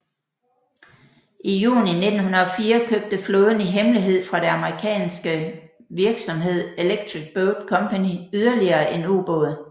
I juni 1904 købte flåden i hemmelighed fra det amerikanske virksomhed Electric Boat Company yderligere en ubåd